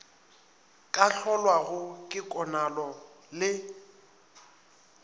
ka hlolwago ke konalo le